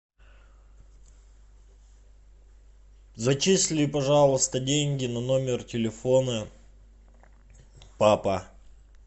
зачисли пожалуйста деньги на номер телефона папа